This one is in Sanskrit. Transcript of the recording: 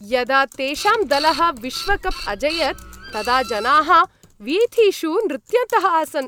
यदा तेषां दलः विश्वकप् अजयत् तदा जनाः वीथिषु नृत्यन्तः आसन्।